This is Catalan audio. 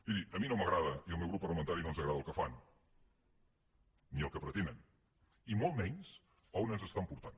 miri a mi no m’agrada i al meu grup parlamentari no ens agrada el que fan ni el que pretenen i molt menys on ens estan portant